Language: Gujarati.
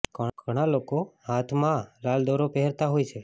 ઘણા લોકો હાથ માં લાલ દોરો પહેરતા હોય છે